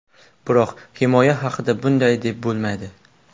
Biroq himoya haqida bunday deb bo‘lmaydi.